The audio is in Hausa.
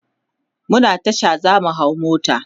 muna Tasha zamu hau mota